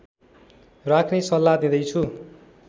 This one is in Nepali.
राख्ने सल्लाह दिँदै छु